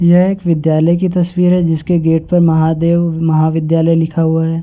यह एक विद्यालय की तस्वीर है जिसके गेट पर महादेव महाविद्यालय लिखा हुआ है।